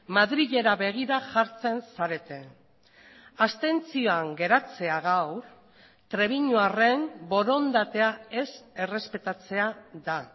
madrilera begira jartzen zarete abstentzioan geratzea gaur trebiñuarren borondatea ez errespetatzea da